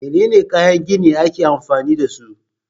Menene kayan gini ake amfani dasu?